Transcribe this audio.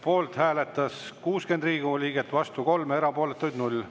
Poolt hääletas 60 Riigikogu liiget, vastu 3, erapooletuid 0.